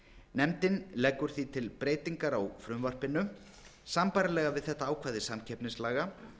nefndin leggur því til breytingu á frumvarpinu sambærilega við þetta ákvæði samkeppnislaga